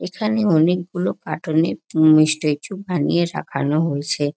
এইখানে অনেক গুলো কাটুর্ন -এর উম স্ট্যাচু বানিয়ে রাখানো হয়েছে ।